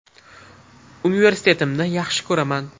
Universitetimni yaxshi ko‘raman.